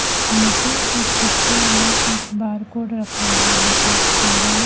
मुझे इस पिक्चर में एक बार कोड रखा हुआ नजर आ रहा--